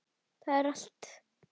Það er allt.